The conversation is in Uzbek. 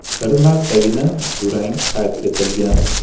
Bir martagina durang qayd etilgan.